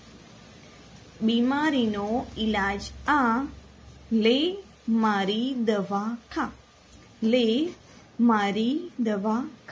બીમારીનો ઈલાજ આ લે મારી દવા ખા